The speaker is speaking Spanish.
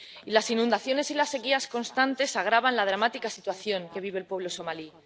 Las inundaciones y las sequías constantes agravan la dramática situación que vive el pueblo somalí.